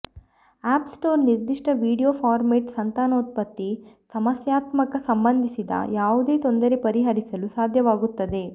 app Store ನಿರ್ದಿಷ್ಟ video format ಸಂತಾನೋತ್ಪತ್ತಿ ಸಮಸ್ಯಾತ್ಮಕ ಸಂಬಂಧಿಸಿದ ಯಾವುದೇ ತೊಂದರೆ ಪರಿಹರಿಸಲು ಸಾಧ್ಯವಾಗುತ್ತದೆ